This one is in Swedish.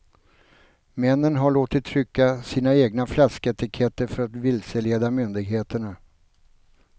Männen har låtit trycka sina egna flasketiketter för att vilseleda myndigheterna.